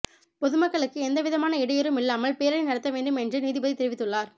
பொதுமக்களுக்கு எந்தவிதமான இடையூறும் இல்லாமல் பேரணி நடத்த வேண்டும் என்று நீதிபதி தெரிவித்துள்ளார்